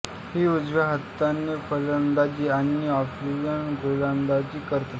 ही उजव्या हाताने फलंदाजी आणि ऑफस्पिन गोलंदाजी करते